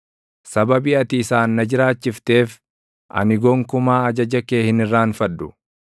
Sababii ati isaan na jiraachifteef, ani gonkumaa ajaja kee hin irraanfadhu.